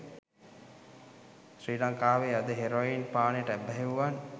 ශ්‍රී ලංකාවේ අද හෙරොයින් පානයට ඇබ්බැහි වූවන්